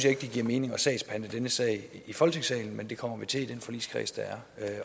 ikke det giver mening at sagsbehandle denne sag i folketingssalen men det kommer vi til at gøre i den forligskreds der er